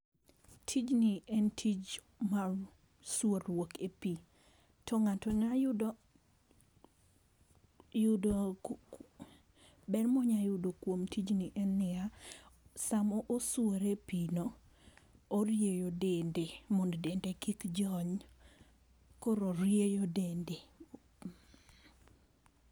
Tijni en tich mar sworuok e pi to ng'ato nya yudo, yudo ber ma onya yudo kuo m tij i en ni ya, sa ma oswore e pino orieyo dende mondo dende kik jony, koro orieyo dende.